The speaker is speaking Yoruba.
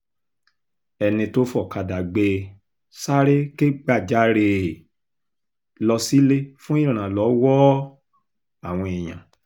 ẹni tó fọ̀kadà gbé e sáré kẹ́gbajarè um lọ sílé fún ìrànlọ́wọ́ um àwọn èèyàn